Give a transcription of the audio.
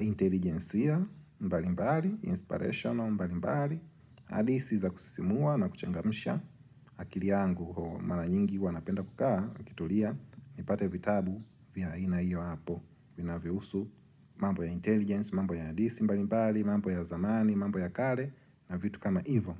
intelligensia mbali mbali, inspirational mbali mbali. Adisi za kusisimua na kuchangamisha akili yangu mara nyingi huwa napenda kukaa, nikituria, nipate vitabu vya aina iyo hapo. Vina vyohusu mambo ya intelligence, mambo ya adisi mbali mbali, mambo ya zamani, mambo ya kale na vitu kama ivo.